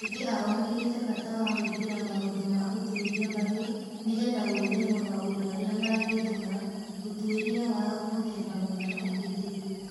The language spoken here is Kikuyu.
Aingi ao moigite bata wa gwĩkĩra maũndũ ma ũtuĩria mbaru nĩgetha gwĩthema maũndũ marĩa mangĩtũma ũtuĩria wa mũthemba mũna ũhĩtĩrio.